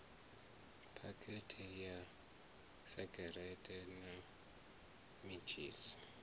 phakhethe ya segereṱe na mentshisi